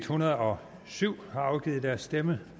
hundrede og syv har afgivet deres stemme